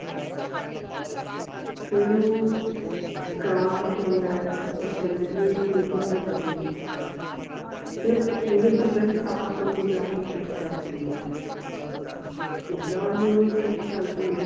ਫਿਰ ਉਹ ਕਾਂ ਵੀ ਕਹਿੰਦਾ ਹੈ ਤੇ ਸਭ ਕਹਿੰਦੇ ਵੀ ਹੁਣ ਕਿੱਦਾਂ ਬਚੇਗੀ ਫਿਰ ਮਲਿਫੀਸੈਂਟ ਆਪ ਓਹਨੂੰ ਜਾ ਕੇ kiss ਕਰ ਦਿੰਦੀ ਆ ਜਿੱਦਾਂ ਓਹਨੂੰ kiss ਕਰਦੀ ਹੈ